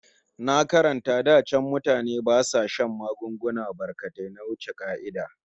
Na karanta cewa da can mutane ba sa shan magunguna barkatai na wuce ƙa'ida